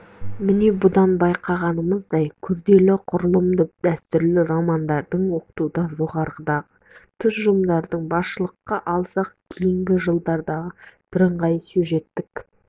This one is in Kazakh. міне бұдан байқағанымыздай күрделі құрылымды дәстүрлі романдарды оқытуда жоғарыдағы тұжырымдарды басшылыққа алсақ кейінгі жылдардағы біріңғай сюжеттік